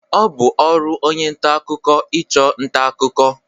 Ọ bụ ọrụ onye nta akụkọ ịchụ nta akụkọ.